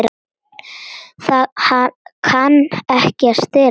Það kann ekki að stela.